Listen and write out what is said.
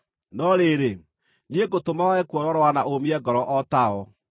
No rĩrĩ, niĩ ngũtũma wage kuororoa na ũũmie ngoro o ta o.